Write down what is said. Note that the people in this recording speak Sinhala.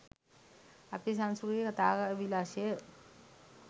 අපේ සංස්කෘතිය කතා විලාශය